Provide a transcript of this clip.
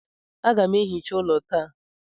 Aga m ehicha ụlọ taa